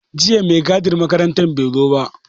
Jiya mai gadin makarantar bai zo ba.